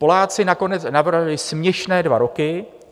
Poláci nakonec navrhli směšné dva roky.